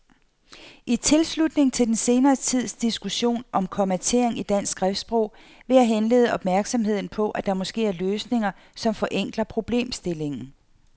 I tilslutning til den senere tids diskussion om kommatering i dansk skriftsprog vil jeg henlede opmærksomheden på, at der måske er løsninger, som forenkler problemstillingen.